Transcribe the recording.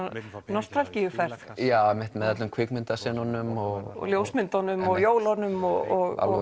nostalgíuferð einmitt með öllum kvikmyndasenunum og ljósmyndunum og jólunum og